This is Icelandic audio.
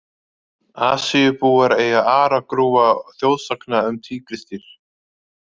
Asíubúar eiga aragrúa þjóðsagna um tígrisdýr.